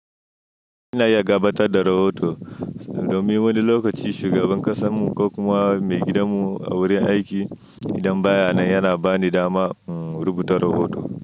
Ina iya gabatar da rahoto domin wani lokaci shugaban ƙasan mu ko kuma maigidan mu a wurin aiki idan bayan nan yana bani dama in rubuta rahoto.